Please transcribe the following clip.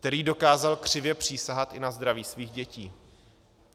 Který dokázal křivě přísahat i na zdraví svých dětí.